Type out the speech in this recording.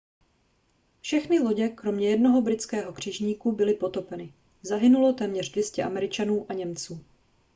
všechny lodě kromě jednoho britského křižníku byly potopeny zahynulo téměř 200 američanů a němců